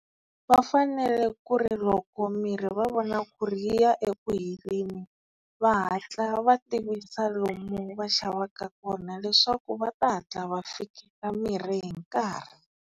Va fanele ku ri loko mirhi va vona ku ri yi ya eku heleni va hatla va tivisa lomu va xavaka kona leswaku va ta hatla va fika mirhi hi nkarhi.